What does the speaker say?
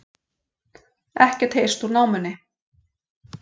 Ekkert heyrst úr námunni